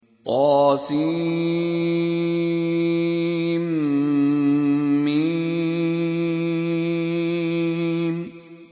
طسم